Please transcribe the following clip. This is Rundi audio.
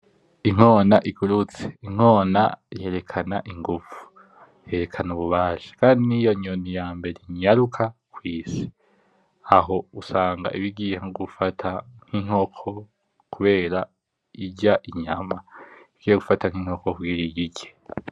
Inkona igurutse. Inkona yerekana inguvu, yerekana ububasha kandi niyonyoni yambere inyaruka kw'isi. Aho usanga iba igiye nkogufata nk'inkoko kubera irya inyama igiye gufata nk'inkoko ngwiyirye.